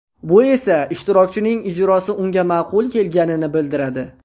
Bu esa ishtirokchining ijrosi unga ma’qul kelganini bildiradi.